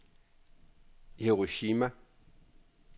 Hiroshima